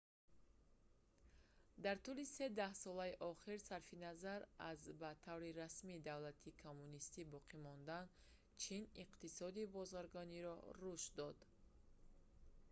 дар тӯли се даҳсолаи охир сарфи назар аз ба таври расмӣ давлати коммунистӣ боқӣ мондан чин иқтисоди бозаргониро рушд дод